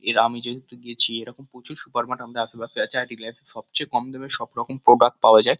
এর আমি যেহেতু গেছি এরম প্রচুর সুপারমার্ট আমাদের আশেপাশে আছে। আর রিলায়েন্স -এ সবচেয়ে কম দামে সবরকম প্রোডাক্ট পাওয়া যায়।